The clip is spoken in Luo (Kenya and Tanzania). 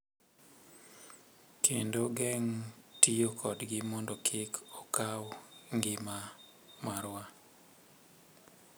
Kendo geng’ tiyo kodgi mondo kik okaw ngima marwa.